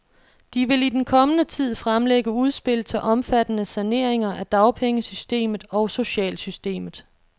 De vil i den kommende tid fremlægge udspil til omfattende saneringer af dagpengesystemet og socialsystemet.